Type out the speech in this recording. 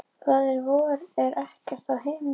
Faðir vor, er ert á himnum.